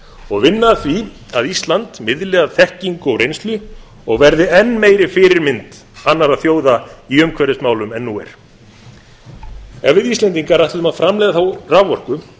og vinna að því að ísland miðli af þekkingu og reynslu og verði enn meiri fyrirmynd annarra þjóða í umhverfismálum en nú er ef við íslendingar ætluðum að framleiða þá raforku